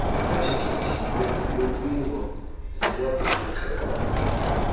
kwiprojekithi yolingo ziyakukuxelela